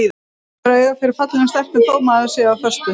Maður hefur auga fyrir fallegum stelpum þótt maður sé á föstu.